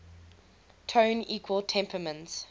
tone equal temperament